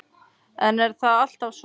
En er það alltaf svo?